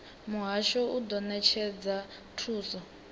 muhasho u do netshedza thuso